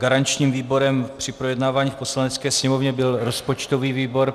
Garančním výborem při projednávání v Poslanecké sněmovně byl rozpočtový výbor.